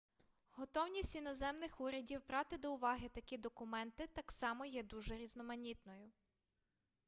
готовність іноземних урядів брати до уваги такі документи так само є дуже різноманітною